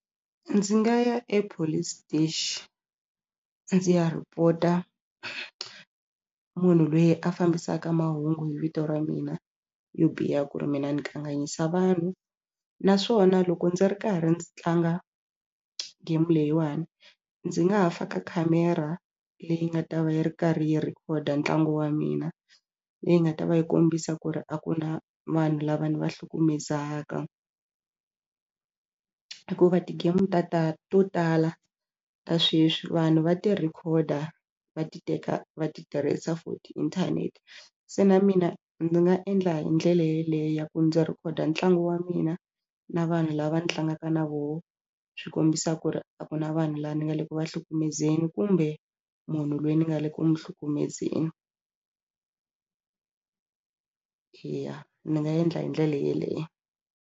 Ndzi nga ya epolice station ndzi ya report-a munhu loyi a fambisaka mahungu hi vito ra mina yo biha ku ri mina ni kanganyisa vanhu naswona loko ndzi ri karhi ndzi tlanga game leyiwani ndzi nga ha faka camera leyi nga ta va yi ri karhi yi record ntlangu wa mina. Leyi nga ta va yi kombisa ku ri a ku na vanhu lava ni va hlukumezaka hikuva ti-game ta ta to tala ta sweswi vanhu va ti rhekhoda va ti teka va ti tirhisa futhi inthanete se na mina ndzi nga endla hi ndlela yeleyo ya ku ndzi rhikhoda ntlangu wa mina na vanhu lava ndzi tlangaka na vona swi kombisa ku ri a ku na vanhu lava nga le ku va hlukumezeni kumbe munhu loyi ni nga le ku n'wi hlukumezeni eya ni nga endla hi ndlela yeleyo.